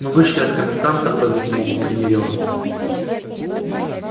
мы вышли от коменданта по-видимому примирённые